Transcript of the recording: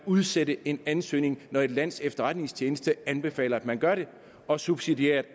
udsætte en ansøgning når et lands efterretningstjeneste anbefaler at man gør det og subsidiært